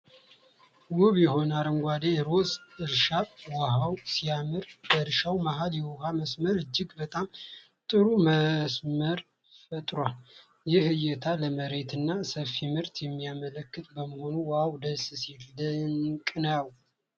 ውብ የሆነ የአረንጓዴ ሩዝ እርሻ ዋው ሲያምር! በእርሻው መሃል የውኃ መስመር እጅግ በጣም ጥሩ መስመር ፈጥሯል። ይህ እይታ ለመሬትና ሰፊ ምርትን የሚያመለክት በመሆኑ ዋው ደስ ሲል! ድንቅ ነው ።